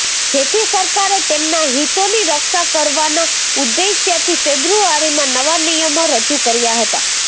જેથી સરકારે તેમના હિતોની રક્ષા કરવાના ઉદ્દેશ્યથી ફેબ્રુઆરીમાં નવા નિયમો રજૂ કર્યા હતા